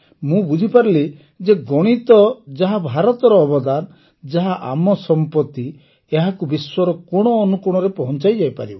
ମୁଁ ବୁଝିପାରିଲି ଯେ ଗଣିତ ଯାହା ଭାରତର ଅବଦାନ ଯାହା ଆମ ସମ୍ପତି ଏହାକୁ ବିଶ୍ୱର କୋଣ ଅନୁକୋଣରେ ପହଂଚାଯାଇପାରିବ